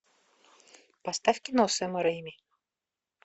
поставь кино сэма рейми